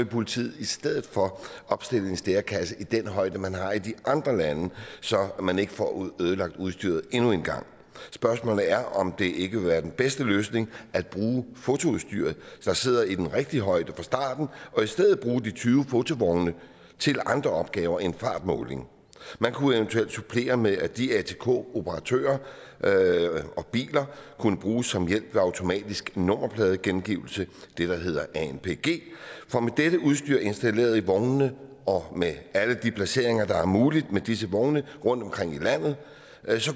politiet i stedet for opstille en stærekasse i den højde man har i de andre lande så man ikke får ødelagt udstyret endnu en gang spørgsmålet er om ikke det vil være den bedste løsning at bruge fotoudstyret der sidder i den rigtige højde fra starten og i stedet bruge de tyve fotovogne til andre opgaver end fartmåling man kunne eventuelt supplere med at de atk operatører og biler kunne bruges som hjælp ved automatisk nummerpladegenkendelse det der hedder anpg for med dette udstyr installeret i vognene og med alle de placeringer der er mulige med disse vogne rundtomkring i landet